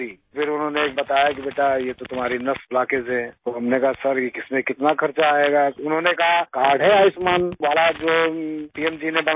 پھر انہوں نے بتایا کہ بیٹا یہ تو تمہاری نس بلاکیج ہے تو ہم نے کہا کہ سر اس مین کتنا خرچ آئے گا؟ تو انہوں نے کہا کہ کارڈ ہے آیوشمان والا، جو پی ایم جی نے بناکر دیا